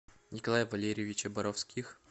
николая валерьевича боровских